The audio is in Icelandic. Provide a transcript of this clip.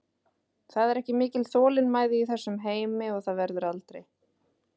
Það er ekki mikil þolinmæði í þessum heimi og það verður aldrei.